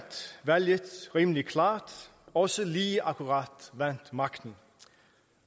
valget rimelig klart også lige akkurat vandt magten